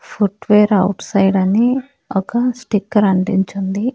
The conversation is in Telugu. ఫుట్వేర్ అవుట్ సైడ్ అని ఒక స్టిక్కర్ అంటించుంది.